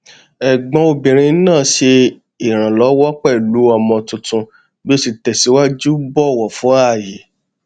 ẹgbọn obìnrin náà ṣe ìrànlọwọ pẹlú ọmọ tuntun bí ó ṣe tẹsìwájú bọwọ fún ààyè